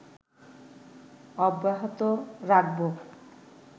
অব্যাহত রাখাবো